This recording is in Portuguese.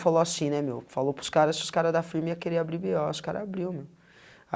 Falou assim né meu, falou para os cara, se os cara da firma ia querer abrir bê ó, os cara abriu, meu.